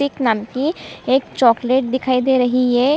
तिक नाम की एक चॉकलेट दिखाई दे रही है।